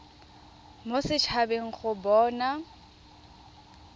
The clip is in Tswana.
mo set habeng go bona